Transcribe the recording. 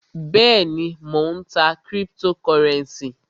Bẹ́èni, Mó ń tá criptocurenci.